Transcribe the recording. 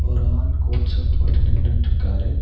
ஒரு ஆள் coat suit போட்டு நின்னுட்ருக்காரு.